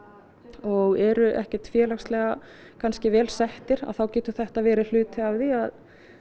og eru ekkert félagslega kannski vel settir að þá getur þetta verið hluti af því að